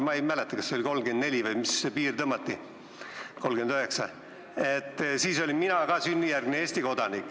Ma ei mäleta, kust see piir tõmmati – kas see oli aasta 1934 või 1939.